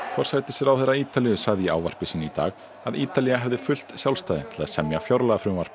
forsætisráðherra Ítalíu sagði í ávarpi sínu í dag að Ítalía hefði haft fullt sjálfstæði til að semja fjárlagafrumvarp